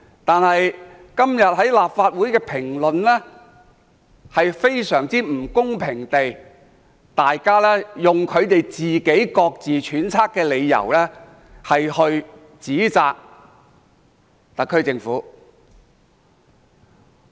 但是，今天很多立法會議員卻非常不公平地用他們自己揣測的理由指責特區政府。